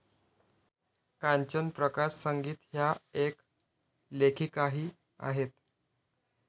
कांचन प्रकाश संगीत ह्या एक लेखिकाही आहेत.